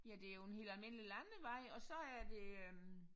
Ja det jo en helt almindelig landevej og så er det øh